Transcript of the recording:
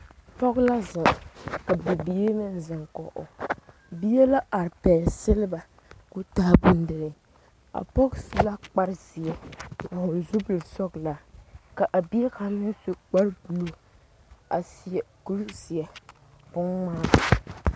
Pɔge la zeŋ ka Bibiiri meŋ zeŋ kɔŋ o bie la are pegle seleba ko'o taa bondire o su la kpare ziɛ a vɔgle zupele sɔglɔ ka a bie kaŋa meŋ su kpare buluu a seɛ kuri zie beŋ ŋmaa.